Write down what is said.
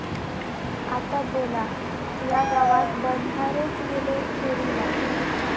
आता बोला.., या गावात बंधारेच गेले चोरीला!